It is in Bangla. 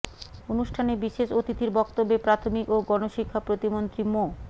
অনুষ্ঠানে বিশেষ অতিথির বক্তব্যে প্রাথমিক ও গণশিক্ষা প্রতিমন্ত্রী মো